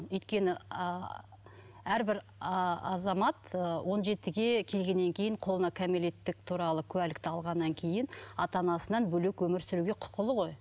өйткені ы әрбір ы азамат ы он жетіге келгеннен кейін қолына кәмелеттік туралы куәлікті алғаннан кейін ата анасынан бөлек өмір сүруге құқылы ғой